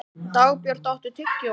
Dagbjört, áttu tyggjó?